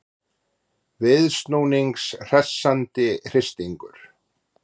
Viðsnúnings hressandi hristingur